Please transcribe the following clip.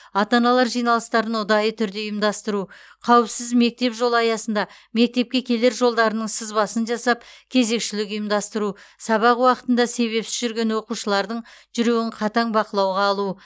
ата аналар жиналыстарын ұдайы түрде ұйымдастыру қауіпсіз мектеп жолы аясында мектепке келер жолдарының сызбасын жасап кезекшілік ұйымдастыру сабақ уақытында себепсіз жүрген оқушылардың жүруін қатаң бақылауға алу